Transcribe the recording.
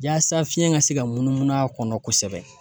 Yaasa fiɲɛ ka se ka munumunu a kɔnɔ kosɛbɛ